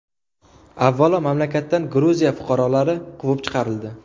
Avvalo mamlakatdan Gruziya fuqarolari quvib chiqarildi.